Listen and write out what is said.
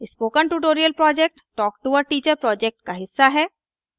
spoken tutorial project talk to a teacher project का हिस्सा है